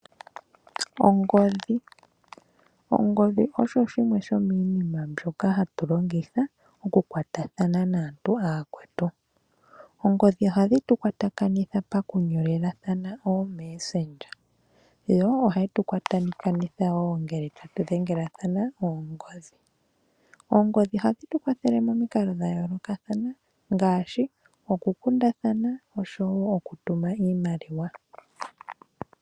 Ongodhi, ongodhi osho shimwe sho miinima mbyoka hatu longitha oku kwatathana naantu aakwetu. Oongodhi ohadhi tukwatakanitha pakunyolelathana oomessange, yo ohayi tu kwatakanitha woo ngele ta tu dhengelathana noongodhi. Oongodhi odho hadhi tu kwathele momikalo dhayoolokathana ngaashi oku kundathano osho woo oku tuma iimaliwa.